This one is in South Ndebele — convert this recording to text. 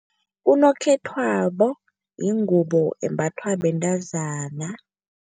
Unokhethwabo yingubo embathwa bentazana.